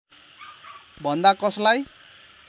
भन्दा कसलाई